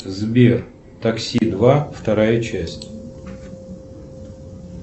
сбер такси два вторая часть